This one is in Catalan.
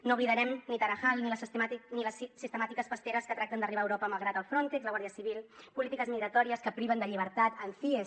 no oblidarem ni tarajal ni les sistemàtiques pasteres que tracten d’arribar a europa malgrat el frontex la guàrdia civil polítiques migratòries que priven de llibertat en cies